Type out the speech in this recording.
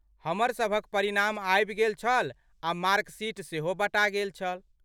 हमरसभक परिणाम आबि गेल छल आ मार्क शीट सेहो बँटा गेल।